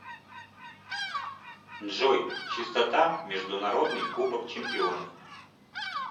джой частота международный кубок чемпионов